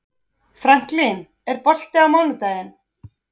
Franklin, er bolti á mánudaginn?